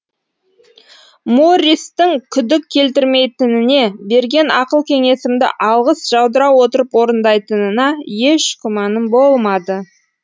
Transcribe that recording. морристің күдік келтірмейтініне берген ақыл кеңесімді алғыс жаудыра отырып орындайтынына еш күмәнім болмады